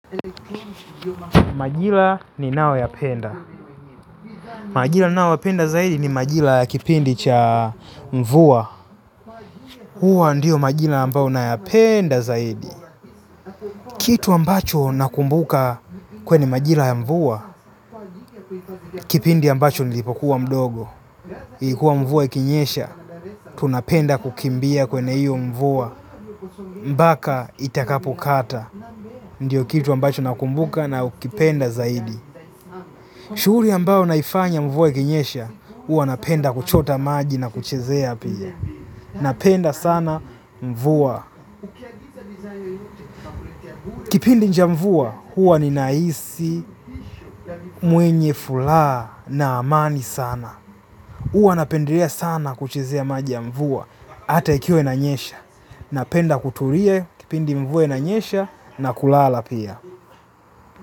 Majira ninayoyapenda, majira nayoyapenda zaidi ni majira ya kipindi cha mvua. Huwa ndiyo majira ambao nayapenda zaidi. Kitu ambacho nakumbuka kwenye majira ya mvua. Kipindi ambacho nilipokuwa mdogo ilikuwa mvua ikinyesha. Tunapenda kukimbia kwenye hiyo mvua mpaka itakapokata. Ndiyo kitu ambacho nakumbuka na kukipenda zaidi. Shughuli ambao naifanya mvua ikinyesha, huwa napenda kuchota maji na kuchezea pia. Napenda sana mvua. Kipindi cha mvua huwa ninahisi mwenye furaha na amani sana. Huwa napendelea sana kuchezea maji ya mvua. Hata ikiwa inanyesha. Napenda kutulie kipindi mvua inanyesha, na kulala pia.